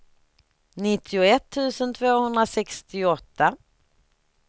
nittioett tusen tvåhundrasextioåtta